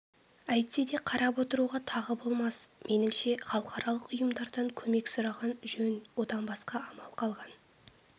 әйтсе де қарап отыруға тағы болмас меніңше халықаралық ұйымдардан көмек сұраған жөн одан басқа амал қалған